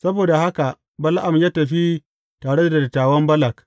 Saboda haka Bala’am ya tafi tare da dattawan Balak.